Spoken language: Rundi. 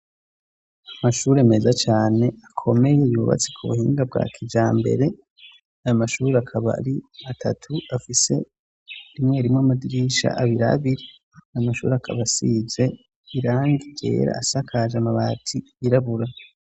Amashuri meza cane akomeye yuubatse ku buhinga bwa kijambere. Ayo mashuri akaba ari atatu afise rimwe rimo amadirisha abirabiri namashuri akabasize irangi yera asakaje amabati irabura.